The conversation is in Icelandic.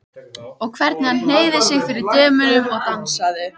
Og hvernig hann hneigði sig fyrir dömunum og dansaði!